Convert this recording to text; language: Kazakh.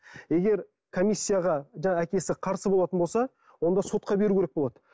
егер комиссияға жаңағы әкесі қарсы болатын болса онда сотқа беру керек болады